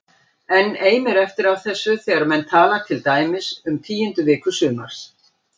Enn eimir eftir af þessu þegar menn tala til dæmis um tíundu viku sumars